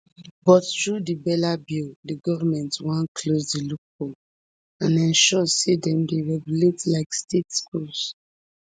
but through di bella bill di goment wan close di loophole and ensure say dem dey regulated like state schools